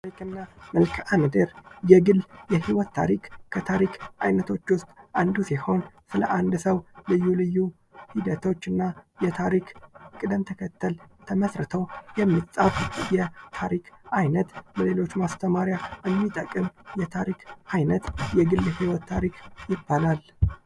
ታሪክ እና መልካምድር:- የግል የህይወት ታሪክ አንዱ ሲሆን ስለ አንድ ሰዉ ልዩ ልዩ ሂደቶች እና የታሪክ ቅደም ተከተል ተመስርተዉ የሚፃፍ የታሪክ አይነት ለሌሎች ማስተማሪያ የሚጠቅም የታሪክ አይነት የግል የህይወት ታሪክ ይባላል።